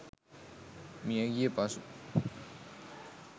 මියගිය පසු